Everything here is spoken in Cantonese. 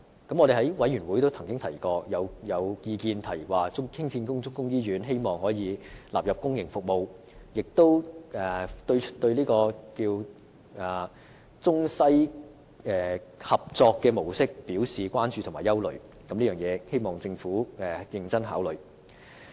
在過去的會議上亦曾經有意見提出，希望新興建的中醫院可以納入公營服務，同時亦對中西合作模式表示關注和憂慮，希望政府認真考慮。